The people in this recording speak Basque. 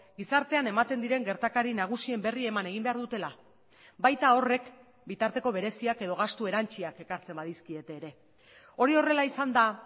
gizartean ematen diren gertakari nagusien berri eman egin behar dutela baita horrek bitarteko bereziak edo gastu erantsiak ekartzen badizkiete ere hori horrela izanda